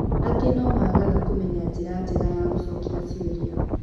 Angĩ no-magaga kũmenya njĩra njega ya gũcokia cioria.